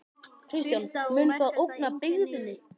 Kristján: Mun það ógna byggðinni?